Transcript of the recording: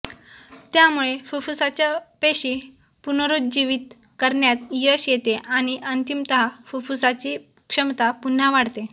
त्यामुळे फुफ्फुसाच्या पेशी पुनरुज्जीवित करण्यात यश येते आणि अंतिमतः फुफ्फुसाची क्षमता पुन्हा वाढते